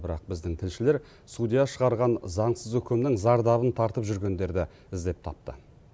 бірақ біздің тілшілер судья шығарған заңсыз үкімнің зардабын тартып жүргендерді іздеп тапты